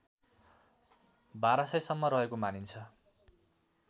१२००सम्म रहेको मानिन्छ